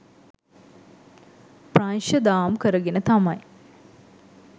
ප්‍රංශ දාම් කරගෙන තමයි